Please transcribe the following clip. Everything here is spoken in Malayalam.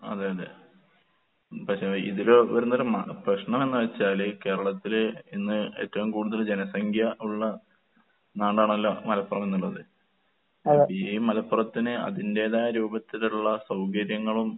അതെ അതെ. പക്ഷെ ഇതില് വരുന്നൊരു മ പ്രശ്നമെന്ന് വെച്ചാണ് കേരളത്തില് ഇന്ന് ഏറ്റവും കൂടുതല് ജനസംഖ്യ ഉള്ള നാടാണല്ലോ മലപ്പുറം എന്നുള്ളത്. അപ്പ ഈ മലപ്പുറത്തിന് അതിന്റേതായ രൂപത്തിലുള്ള സൗകര്യങ്ങളും